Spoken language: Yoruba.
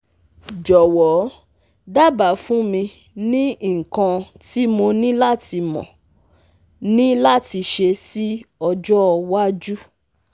Jowo daba fun mi ni ikan ti mo ni lati mo ni lati se si ojo waju